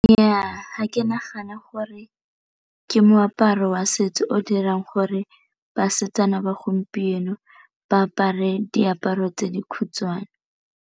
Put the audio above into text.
Nnyaa, ga ke nagane gore ke moaparo wa setso o dirang gore basetsana ba gompieno ba apare diaparo tse di khutshwane.